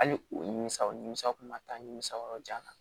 Hali u nimisaw nimisaw kun ma taa nimisa yɔrɔ jan